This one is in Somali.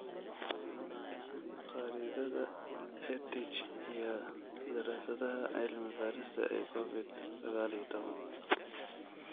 Khariidadda EdTech iyo daraasadaha cilmi-baarista ee Covid sagaal iyo tobbaan